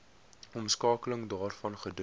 omskakeling daarvan gedoen